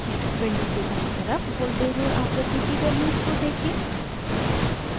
window के दायीं तरफ voltage और आवृत्ति की values कोदेखें